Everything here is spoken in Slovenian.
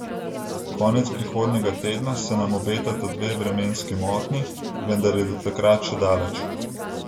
Konec prihodnjega tedna se nam spet obetata dve vremenski motnji, vendar je do takrat še daleč ...